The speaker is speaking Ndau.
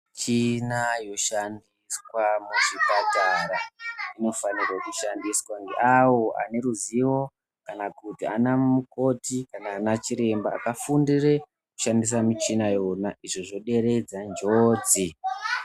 Michini inoshandiswa muzvipatara inofana kushandiswa ngeavo vane ruzivo kana kuti ana mukoti kana ana chiremba vakafundire kushandisa michina yona izvo zvoderedza njodzi.